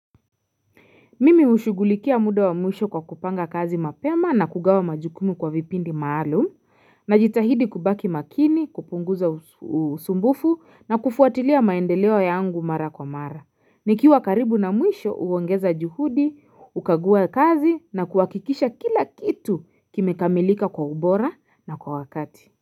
Mimi hushugulikia muda wa mwisho kwa kupanga kazi mapema na kugawa majukumu kwa vipindi maalum najitahidi kubaki makini kupunguza usumbufu na kufuatilia maendeleo yangu mara kwa mara nikiwa karibu na mwisho huongeza juhudi hukagua kazi na kuhakikisha kila kitu kimekamilika kwa ubora na kwa wakati.